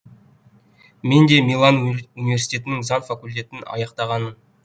мен де милан универ университетінің заң факультетін аяқтағанмын